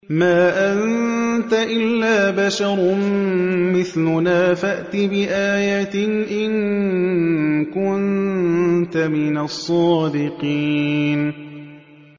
مَا أَنتَ إِلَّا بَشَرٌ مِّثْلُنَا فَأْتِ بِآيَةٍ إِن كُنتَ مِنَ الصَّادِقِينَ